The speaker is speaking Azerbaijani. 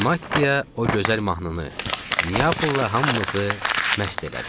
Və Maddiya o gözəl mahnını, Niyapolla hamımızı məst elədi.